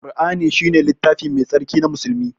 Ƙur'ani shine littafi mai tsarki na musulmi.